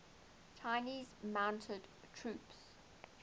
chinese mounted troops